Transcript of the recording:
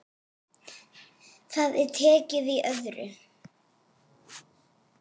Það er tekið í öðru.